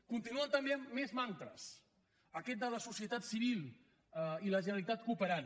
continuen també amb més mantres aquest de la societat civil i la generalitat cooperant